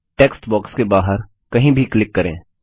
text box के बाहर कहीं भी क्लिक करें